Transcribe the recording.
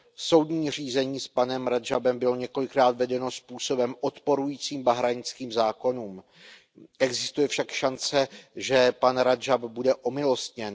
Soudní řízení s panem Radžábem bylo několikrát vedeno způsobem odporující bahrajnským zákonům. Existuje však šance, že pan Radžáb bude omilostněn.